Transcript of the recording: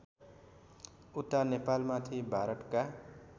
उता नेपालमाथि भारतका